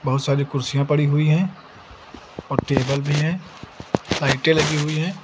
बहुत सारी कुर्सियां पड़ी हुई हैं और टेबल भी हैं लाइटें लगी हुई हैं।